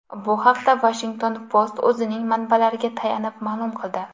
Bu haqda Washington Post o‘zining manbalariga tayanib ma’lum qildi .